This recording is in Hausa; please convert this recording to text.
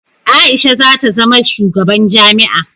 Aisha zata zama shugaban jami'a